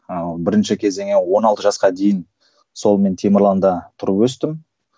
ыыы бірінші кезеңі он алты жасқа дейін сол мен темірланда тұрып өстім